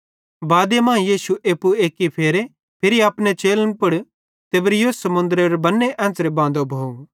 बादे मां यीशुए एप्पू एक्की फेरे फिरी अपने चेलन पुड़ तिबिरियुस समुन्द्रेरो बन्ने एन्च़रे बांदो भोव